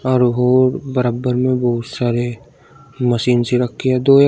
और वो बराबर में बहुत सारे मशीन सी रखी है दो एक--